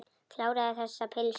Kláraðu þessa pylsu.